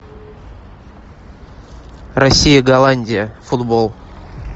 россия голландия футбол